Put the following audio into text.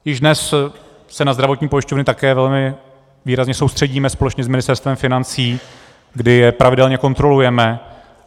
Již dnes se na zdravotní pojišťovny také velmi výrazně soustředíme společně s Ministerstvem financí, kdy je pravidelně kontrolujeme.